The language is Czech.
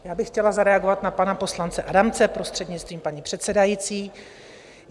Já bych chtěla zareagovat na pana poslance Adamce, prostřednictvím paní předsedající.